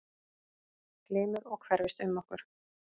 Glymur og hverfist um okkur.